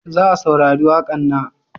Za saurari waƙan na?